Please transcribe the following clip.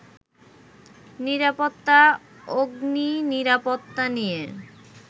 নিরাপত্তা, অগ্নিনিরাপত্তা নিয়ে